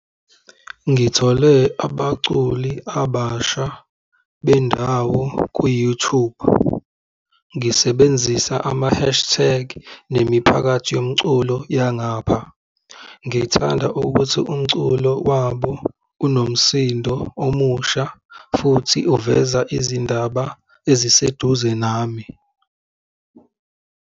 Ngithole abaculi abasha bendawo kwi-YouTube ngisebenzisa ama-hashtag nemiphakathi yomculo yangapha. Ngithanda ukuthi umculo wabo unomsindo omusha, futhi uveza izindaba eziseduze nami.